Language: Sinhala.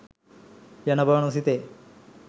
යන බව නොසිතේ.